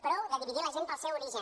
prou de dividir la gent pel seu origen